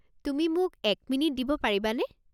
তুমি মোক এক মিনিট দিব পাৰিবানে?